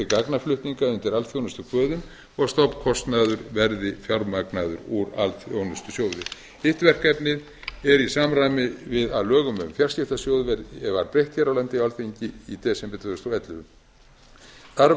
gagnaflutninga undir alþjónustukvöðum og stofnkostnaður verði fjármagnaður úr alþjónustusjóði hitt verkefnið er í samræmi við að lögum um fjarskiptasjóði var breytt hér á landi á alþingi í desember tvö þúsund og ellefu þar